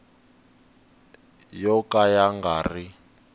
yo ka ya nga ri